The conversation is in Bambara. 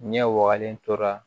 Ɲɛ wagalen tora